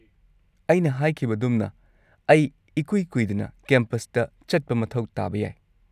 -ꯑꯩꯅ ꯍꯥꯏꯈꯤꯕꯒꯗꯨꯝꯅ, ꯑꯩ ꯏꯀꯨꯏ ꯀꯨꯏꯗꯅ ꯀꯦꯝꯄꯁꯇ ꯆꯠꯄ ꯃꯊꯧ ꯇꯥꯕ ꯌꯥꯏ꯫